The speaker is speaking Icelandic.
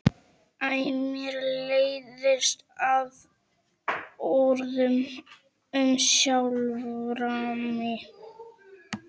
Æ mér leiðist það orð um sjálfa mig.